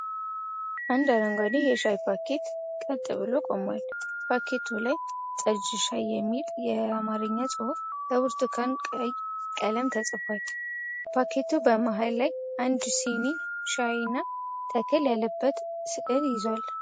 አንድ አረንጓዴ የሻይ ፓኬት ቀጥ ብሎ ቆሟል። ፓኬቱ ላይ "ጠጅ ሻይ" የሚል የአማርኛ ጽሑፍ በብርቱካን ቀይ ቀለም ተጽፏል። ፓኬቱ በመሃል ላይ አንድ ስኒ ሻይ እና ተክል ያለበት ሥዕል ይዟል።